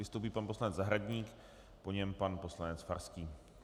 Vystoupí pan poslanec Zahradník, po něm pan poslanec Farský.